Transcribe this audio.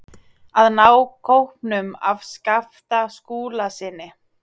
AÐ NÁ KÓPNUM AF SKAPTA SKÚLASYNI.